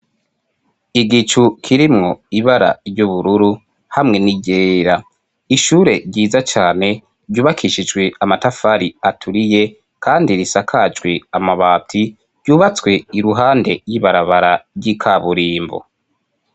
Igicu kirimwo ibara ry'ubururu hamwe n'iryera ishure ryiza cyane ryubakishijwe amatafari aturiye kandi risakajwi amabati ryubatswe iruhande y'ibarabara ry'ikaburimbo.